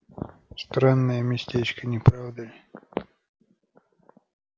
странное местечко не правда ли